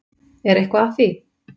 Er eitthvað að því?